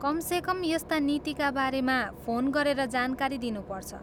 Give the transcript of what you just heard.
कमसेकम यस्ता नीतिका बारेमा फोन गरेर जानकारी दिनुपर्छ।